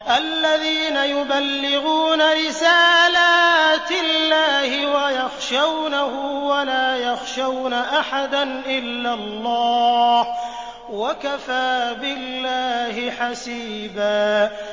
الَّذِينَ يُبَلِّغُونَ رِسَالَاتِ اللَّهِ وَيَخْشَوْنَهُ وَلَا يَخْشَوْنَ أَحَدًا إِلَّا اللَّهَ ۗ وَكَفَىٰ بِاللَّهِ حَسِيبًا